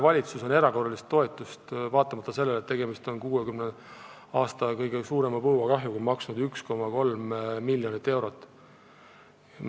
Valitsus on erakorralist toetust vaatamata sellele, et tegemist on 60 aasta jooksul kõige suurema põua kahjuga, maksnud 1,3 miljonit eurot.